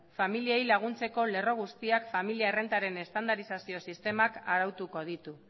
familiei laguntzeko lerro guztiak familia errentaren estandarizazio sistemak arautuko ditu